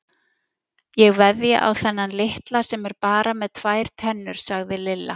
Ég veðja á þennan litla sem er bara með tvær tennur sagði Lilla.